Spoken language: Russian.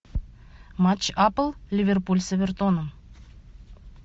матч апл ливерпуль с эвертоном